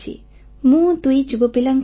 ମୁଁ ଦୁଇଟି ଯୁବା ବୟସର ପିଲାଙ୍କର ମା